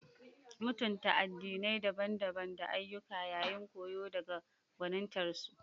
Mutunta addinai daban-daban da ayyuka yayin koyo daga gwanintarsu.